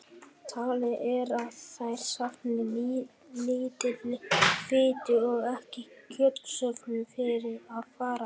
Talið er að þær safni lítilli fitu og ekki er kjötsöfnun fyrir að fara.